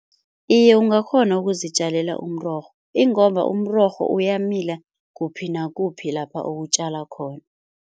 Iye ungakghona ukuzitjalela umrorho ingomba umrorho uyamila kuphi nakuphi lapha uwutjala khona.